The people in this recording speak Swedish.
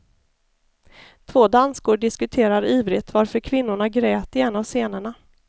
Två danskor diskuterar ivrigt varför kvinnorna grät i en av scenerna.